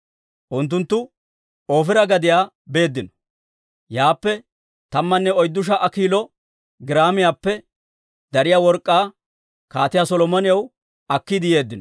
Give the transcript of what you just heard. Unttunttu Oofira gadiyaa beeddino; yaappe tammanne oyddu sha"a kiilo giraamiyaappe dariyaa work'k'aa Kaatiyaa Solomonaw akkiide yeeddino.